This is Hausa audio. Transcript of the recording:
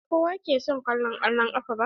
Ba kowa ke son kallo kwallan kafa ba.